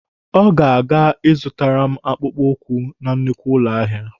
Ọ ga-aga azụtara m akpụkpụ na nnukwu ụlọ ahịa.